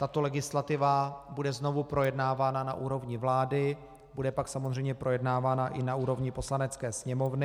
Tato legislativa bude znovu projednávána na úrovni vlády, bude pak samozřejmě projednávána i na úrovni Poslanecké sněmovny.